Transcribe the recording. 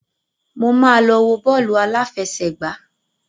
Mo máa lọ wo bọ́ọ̀lù aláfẹṣẹ̀gbá.